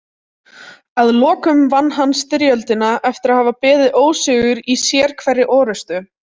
Að lokum vann hann styrjöldina eftir að hafa beðið ósigur í sérhverri orrustu.